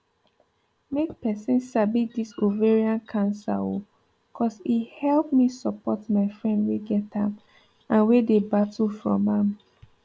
make persin sabi this ovarian cancer oooo cos e help me support my friend wey get am and wey dey battle from am